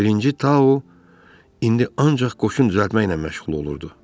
Birinci Tao indi ancaq qoşun düzəltməklə məşğul olurdu.